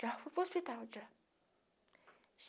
Já fui para o hospital, já.